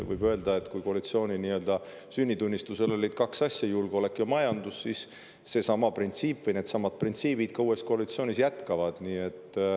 Võib öelda, et kui selle koalitsiooni sünnitunnistusel olid kaks asja, julgeolek ja majandus, siis needsamad printsiibid ka uues koalitsioonis jätkuvad.